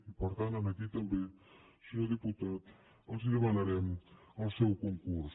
i per tant aquí també senyor diputat els demanarem el seu concurs